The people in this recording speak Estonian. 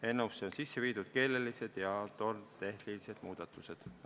Eelnõusse on sisse viidud keelelised ja normitehnilised muudatused.